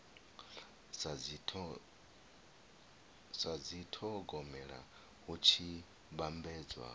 sa dithogomela hu tshi vhambedzwa